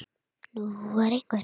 Enginn komst af.